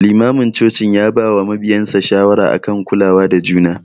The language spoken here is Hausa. Limamin cocin ya bawa mabiyansa shawara akan kulawa da juna.